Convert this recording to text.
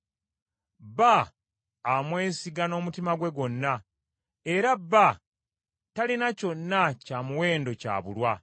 Bba amwesiga n’omutima gwe gwonna, era bba talina kyonna kya muwendo ky’abulwa.